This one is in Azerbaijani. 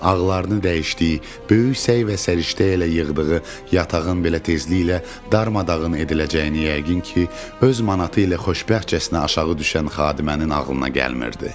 Ağlarını dəyişdi, böyük səy və səriştə ilə yığdığı yatağın belə tezliklə darmadağın ediləcəyini yəqin ki, öz manatı ilə xoşbəxtcəsinə aşağı düşən xadimənin ağlına gəlmirdi.